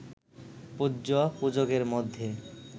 পূজ্য, পূজকের মধ্যে